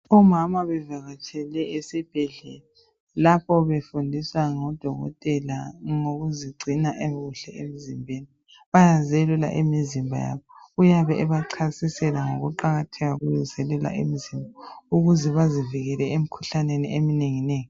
Omama bevakatshele esibhedlela lapho befundiswa ngodokotela ngokuzigcina kuhle emzimbeni. Bayazelula imizimba yabo. Uyabe ebachasisela ngokuqakatheka kokuzelula imizimba ukuze bazivikele emikhuhlaneni eminengi nengi.